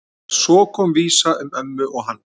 Svo kom vísa um ömmu og hann